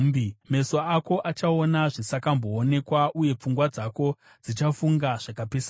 Meso ako achaona zvisakamboonekwa uye pfungwa dzako dzichafunga zvakapesana.